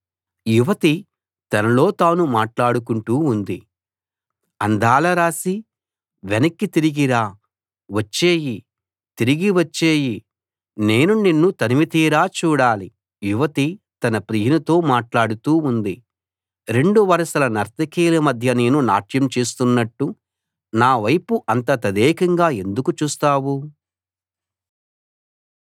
యువతి తనలో తాను మాట్లాడుకుంటూ ఉంది అందాల రాశీ వెనక్కి తిరిగి రా వచ్చెయ్యి తిరిగి వచ్చెయ్యి నేను నిన్ను తనివితీరా చూడాలి యువతి తన ప్రియునితో మాట్లాడుతూ ఉంది రెండు వరసల నర్తకిల మధ్య నేను నాట్యం చేస్తున్నట్టు నావైపు అంత తదేకంగా ఎందుకు చూస్తావు